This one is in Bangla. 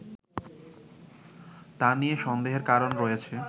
তা নিয়ে সন্দেহের কারণ রয়েছে